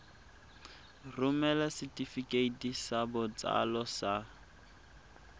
romela setefikeiti sa botsalo sa